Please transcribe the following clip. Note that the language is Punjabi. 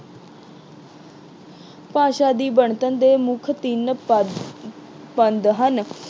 ਭਾਸ਼ਾ ਦੀ ਬਣਤਰ ਦੇ ਮੁੱਖ ਤਿੰਨ ਪਦ ਅਹ ਪਦ ਹਨ।